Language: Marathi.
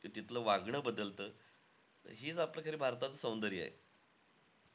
तिथलं वागणं बदलतं हेचं आपलं खरं भारताचं सौंदर्य आहे.